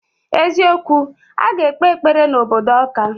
Eziokwu, aga ekpe ekpere na obodo Awka.